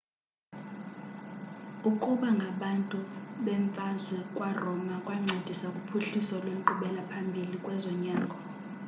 ukuba ngabantu bemvazwe kwaroma kwancedisa kuphuhliso lwenkqubela phambili kwezonyango